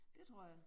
Det tror jeg